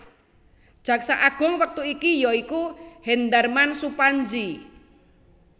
Jaksa Agung wektu iki ya iku Hendarman Supandji